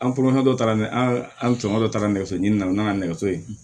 An polonman dɔ taara ni an tɔɲɔgɔn dɔ taara nɛgɛso ɲini na n'a nɛgɛso ye